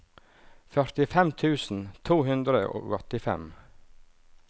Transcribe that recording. førtifem tusen to hundre og åttifem